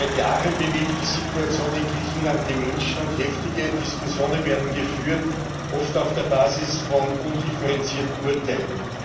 Seit Jahren bewegt die Situation in Griechenland die Menschen und heftige Diskussionen werden geführt, oft auf der Basis von undifferenzierten Urteilen.